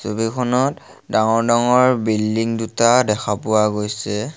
ছবিখনত ডাঙৰ ডাঙৰ বিল্ডিং দুটা দেখা পোৱা গৈছে।